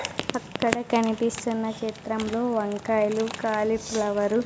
అక్కడ కనిపిస్తున్న చిత్రంలో వంకాయలు కాలీఫ్లవర్ --